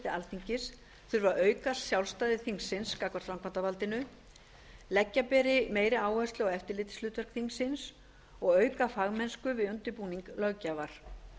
alþingis þurfi að auka sjálfstæði þingsins gagnvart framkvæmdarvaldinu leggja meiri áherslu á eftirlitshlutverk þingsins og auka fagmennsku við undirbúning löggjafar